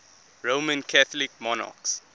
roman catholic monarchs